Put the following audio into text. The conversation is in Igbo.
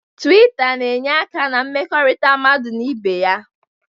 Tuwita na-enye aka na mmekọrịta mmadụ na ibe ya.